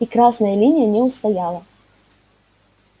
и красная линия не устояла